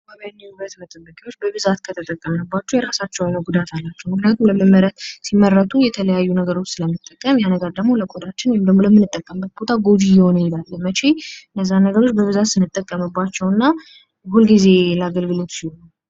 የተለያዩ የውበት መጠበቂያዎች በብዛት ከተጠቀምንባቸው የራሳቸው የሆነ ጉዳት አላቸው። ምክንያቱም ሲመረቱ የተለያዩ ነገሮች ስለምንጠቀም የነገር ደግሞ ወደ ቆዳችን ወይም ደግሞ ለምንጠቀምበት ቦታ ጎጂ እየሆነ ይሄዳል። መቼ? እነዛ ነገሮች በብዛት ስንጠቀምባቸው እና ሁል ጊዜ አገልግሎት ሲውሉ።